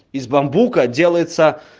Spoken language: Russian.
из бамбука делают